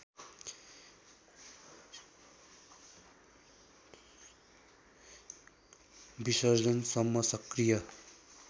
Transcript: विसर्जनसम्म सक्रिय